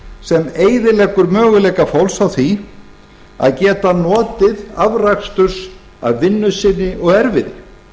sem eyðileggur möguleika fólks á því að geta notið afraksturs af vinnu sinni og erfiði